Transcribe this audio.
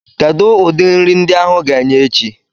Kedu ụdị nri ndi áhù ga-enye echi?